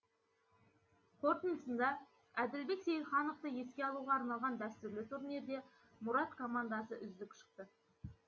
қортындысында әділбек сейілхановты еске алуға арналған дәстүрлі турнирде мұрат командасы үздік шықты